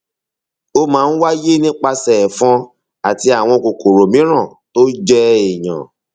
ó máa ń wáyé nípasẹ ẹfọn àti àwọn kòkòrò mìíràn tó jẹ èèyàn